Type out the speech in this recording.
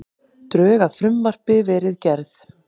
Drög að frumvarpi verið gerð